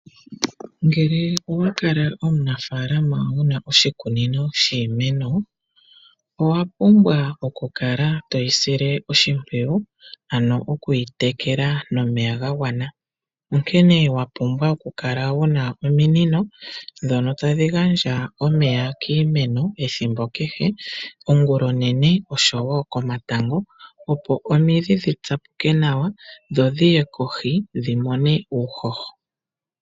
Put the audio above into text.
Ngele owakala omuna faalama wuna oshikunino shiimeno , owapumbwa okukala toyi sile oshimpwiyu , ano okuyi tekela nomeya gagwana, onkene owapumbwa okukala wuna ominino ndhono tadhi gandja omeya kiimeno ethimbo kehe , ongulonene oshowoo komatango opo omidhi dhitsapuke nawa opo dhiye kohi dhimone uuhoho.